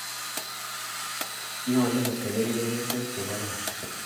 nyolu kotoben chepyosok che kororon.